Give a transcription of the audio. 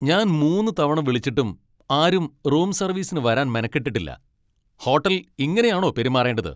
ഞാൻ മൂന്ന് തവണ വിളിച്ചിട്ടും ആരും റൂം സർവീസിന് വരാൻ മെനക്കെട്ടിട്ടില്ല! ഹോട്ടൽ ഇങ്ങനെയാണോ പെരുമാറേണ്ടത്.